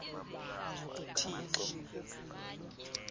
thixo